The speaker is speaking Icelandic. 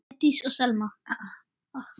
Sædís og Selma.